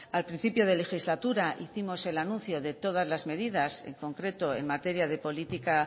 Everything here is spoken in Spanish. al principio de legislatura hicimos el anuncio de todas las medidas en concreto en materia de política